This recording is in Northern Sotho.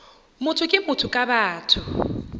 motho ke motho ka batho